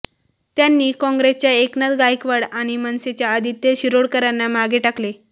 त्यांनी काँग्रेसच्या एकनाथ गायकवाड आणि मनसेच्या आदित्य शिरोडकरांना मागे टाकले